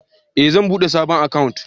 Eh zan bude sabon akant